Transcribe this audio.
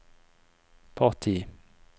parti